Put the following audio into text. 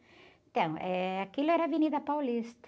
Então, eh, aquilo era Avenida Paulista.